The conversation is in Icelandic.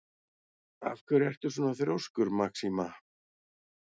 Af hverju ertu svona þrjóskur, Maxima?